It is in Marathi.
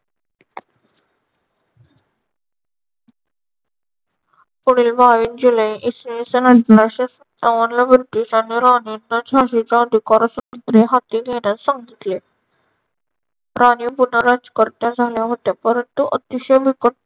पुढील बाबीस जुलै इसवी सन अठराशे सत्तावनला ब्रिटिशांनी राणीचा झाशीचा अधिकार स्वतंत्र हाती घेण्यास सांगितले. राणी पुन्हा राज्यकर्त्या झाल्या होत्या. परंतु अतिशय बिकट